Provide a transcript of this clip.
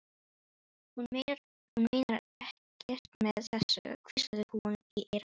Hún meinar ekkert með þessu, hvíslaði hún í eyra hans.